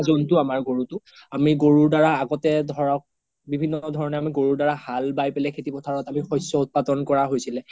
যোনটো আমাৰ গৰুটো আমি গৰুৰ দাৰা আগ্তে ধৰক বিভিন্ন ধৰণয়ে আমি গৰুৰ দাৰা হাল বাই কিনে খেতি পোথাৰত আমি শস্য উৎপাদন হৈছিলে